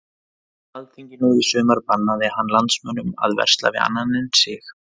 Á alþingi nú í sumar bannaði hann landsmönnum að versla við annan en sig.